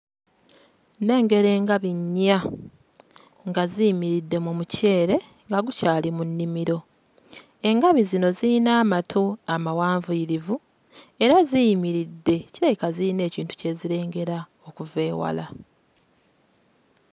Nnengera engabi nnya nga ziyimiridde mu muceere nga gukyali mu nnimiro. Engabi zino zirina amatu amawanvuyirivu, era ziyimiridde kirabika ziyina ekintu kye zirengera okuva ewala.